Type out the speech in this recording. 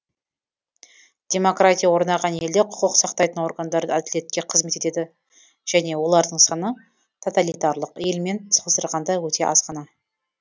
демократия орнаған елде құқық сақтайтын органдар әділетке қызмет етеді және олардың саны тоталитарлық елмен салыстырғанда өте аз ғана